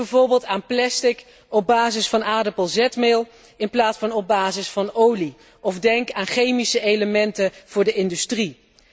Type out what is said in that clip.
Denk bijvoorbeeld aan plastic op basis van aardappelzetmeel in plaats van op basis van olie, of denk aan chemische elementen voor de industrie.